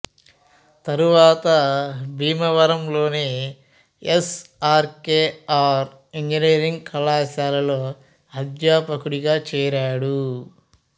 తరువాత భీమవరం లోని S R K R engineering కళాశాలలో అధ్యాపకుడిగా చేరాడు